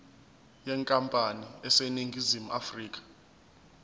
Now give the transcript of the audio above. yenkampani eseningizimu afrika